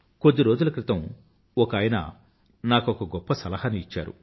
కొద్ది రోజుల క్రితం ఒకాయన నాకొక గొప్ప సలహాను ఇచ్చాడు